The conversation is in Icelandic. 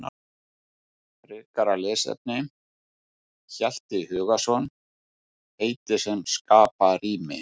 Frekara lesefni: Hjalti Hugason, Heiti sem skapa rými.